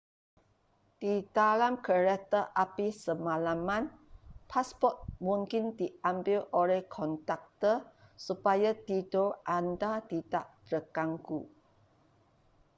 di dalam kereta api semalaman pasport mungkin diambil oleh konduktor supaya tidur anda tidak terganggu